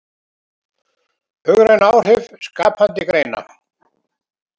Hagræn áhrif skapandi greina